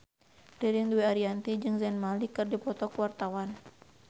Ririn Dwi Ariyanti jeung Zayn Malik keur dipoto ku wartawan